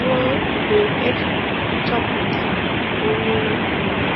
ruo mgbe e chọpụtara onye nwe ya.